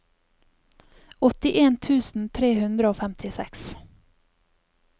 åttien tusen tre hundre og femtiseks